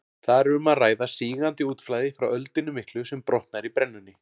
Þar er um að ræða sígandi útflæði frá öldunni miklu sem brotnar í brennunni.